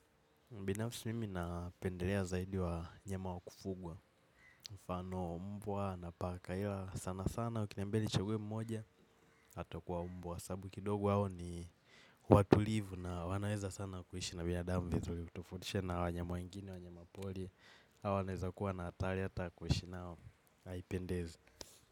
Mbinafsi mimi napendelea zaidi wanyama wa kufugwa. Mfano mbwa na paka ila sana sana. Wakinambia nichaguwe mmoja atakuwa mbwa. Sabu kidogo wao ni watulivu na wanaeza sana kuishi na binadamu. Vizuli hutofautisha na wanyama wengine, wanyama poli. Au anaeza kuwa na atari ata ya kuishi nao, haipendezi.